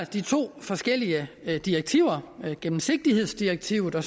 de to forskellige direktiver gennemsigtighedsdirektivet og